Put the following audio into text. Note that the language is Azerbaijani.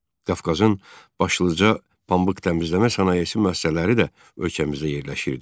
Qafqazın başlıca pambıq təmizləmə sənayesi müəssisələri də ölkəmizdə yerləşirdi.